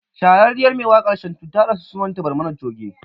Shahararriyar mai wakar Shantu ta rasu sunan ta Barmani Choge